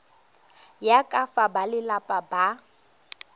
ya ka fa balelapa ba